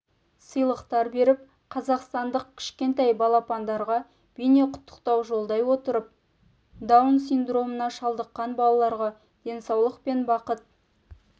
сыйлықтар беріп қазақстандық кішкентай балапандарға бейнеқұттықтау жолдай отырып даун синдромына шалдыққан балаларға денсаулық пен бақыт